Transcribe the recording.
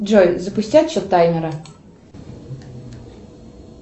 джой запусти отсчет таймера